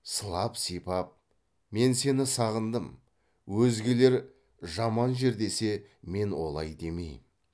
сылап сипап мен сені сағындым өзгелер жаман жер десе мен олай демеймін